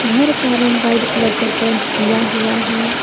घर का रंग व्हाइट कलर से पेंट किया हुआ है।